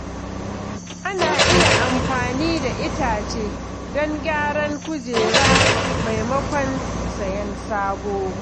Ana iya amfani da itace don gyaran kujera maimakon sayen sabo.